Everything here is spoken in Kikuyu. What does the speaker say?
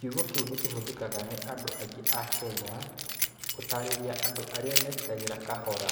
Kiugo kĩu nĩ kĩhũthĩkaga nĩ andũ aingĩ a Kenya gũtaarĩria andũ arĩa meetĩkagĩra kahora.